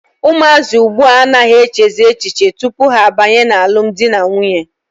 Ụmụazị ugbua a naghị echezi echiche tupu ha abanye n'alụm dị na nwunye.